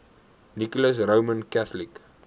nicholas roman catholic